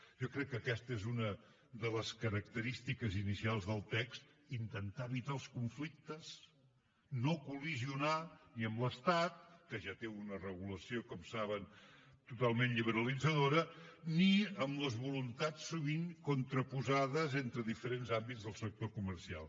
jo crec que aquesta és una de les característiques inicials del text intentar evitar els conflictes no col·lidir ni amb l’estat que ja té una regulació com saben totalment liberalitzadora ni amb les voluntats sovint contraposades entre diferents àmbits del sector comercial